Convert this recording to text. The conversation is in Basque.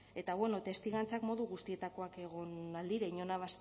eta bueno testigantzak modu guztietakoak egon ahal dira inorena